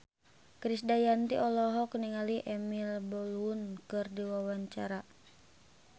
Krisdayanti olohok ningali Emily Blunt keur diwawancara